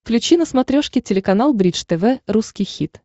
включи на смотрешке телеканал бридж тв русский хит